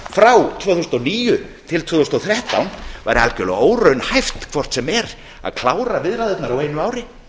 frá tvö þúsund og níu til tvö þúsund og þrettán væri algerlega óraunhæft hvort sem er að klára viðræðurnar á einu ári